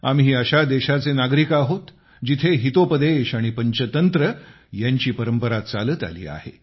आम्ही अशा देशाचे नागरिक आहोत जिथे हितोपदेश आणि पंचतंत्र यांची परंपरा चालत आली आहे